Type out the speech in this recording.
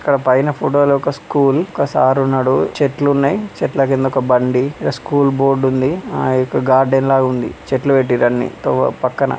ఇక్కడ పైన ఫోటోలో ఒక స్కూల్ ఒక సారు ఉన్నాడు. చెట్లు ఉన్నాయి .చెట్ల కింద ఒక బండి ఇక్కడ స్కూల్ బోర్డు ఉంది. ఆ యొక్క గార్డెన్ లాగా ఉంది. చెట్లు పెట్టిర్రు అన్నీ పక్కన--